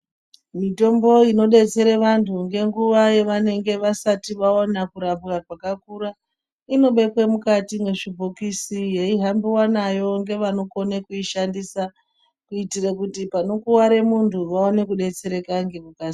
Mitombo inodetsere vantu ngenguwa yevanenge vasati vaona kurapwa kwakakura inobekwe mukati mwezvibhokisi, yeihambiwa nayo ngevanokone kuishandisa. Kuitire kuti panokuware muntu vaone kudetsereka ngekukasira.